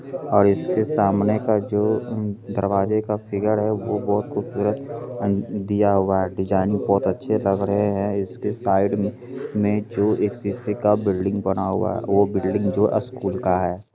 और इसके सामने का जो दरवाजे का फिगर है । वह बहुत खूबसूरत दिया हुआ है । डिजाइन बहुत अच्छे लग रहे हैं। इसके साइड मे जो एक शीशे का बिल्डिंग बना हुआ है । वह बिल्डिंग जो स्कूल का है ।